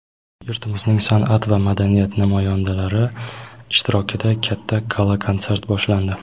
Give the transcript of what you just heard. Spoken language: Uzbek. yurtimizning sanʼat va madaniyat namoyandalari ishtirokida katta gala konsert boshlandi.